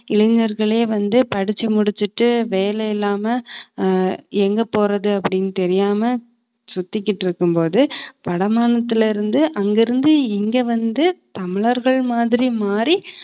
இளைஞர்களே வந்து படிச்சு முடிச்சுட்டு வேலை இல்லாம ஆஹ் எங்க போறது அப்படின்னு தெரியாம சுத்திகிட்டு இருக்கும்போது வடமாநிலயிருந்து அங்கிருந்து இங்க வந்து தமிழர்கள் மாதிரி மாறி